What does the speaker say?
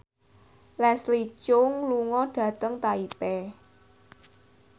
Leslie Cheung lunga dhateng Taipei